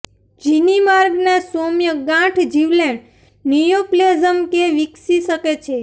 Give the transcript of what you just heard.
જીની માર્ગના સૌમ્ય ગાંઠ જીવલેણ નિયોપ્લેઝમ કે વિકસી શકે છે